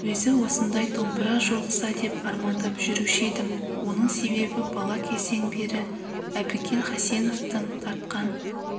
өзі осындай домбыра жолықса деп армандап жүруші едім оның себебі бала кезден бері әбікен хасеновтің тартқан